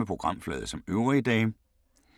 Samme programflade som øvrige dage